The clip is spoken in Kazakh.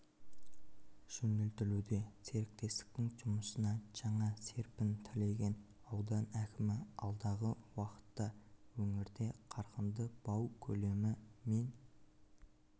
жөнелтілуде серіктестіктің жұмысына жаңа серпін тілеген аудан әкімі алдағы уақытта өңірде қарқынды бау көлемі мен